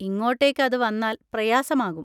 ഇങ്ങോട്ടേക്ക് അത് വന്നാൽ പ്രയാസമാകും.